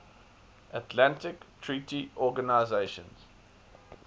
atlantic treaty organisation